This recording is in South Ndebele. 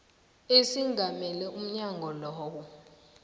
esingamele umnyango loyo